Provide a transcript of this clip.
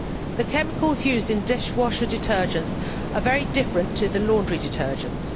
The chemicals used in dishwasher detergents are very different to the laundry detergents.